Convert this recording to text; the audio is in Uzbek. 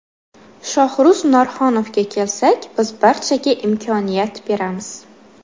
Shohruz Norxonovga kelsak, biz barchaga imkoniyat beramiz.